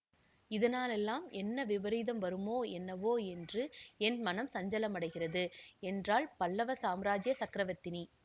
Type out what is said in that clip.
இதனாலெல்லாம் என்ன விபரீதம் வருமோ எனனவோ என்று என் மனம் சஞ்சலமடைகிறது என்றாள் பல்லவ சாம்ராஜ்ய சக்கரவர்த்தினி